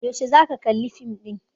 Yaushe za ka kalli fim ɗin?